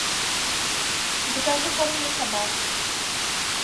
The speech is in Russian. закажи корм для собак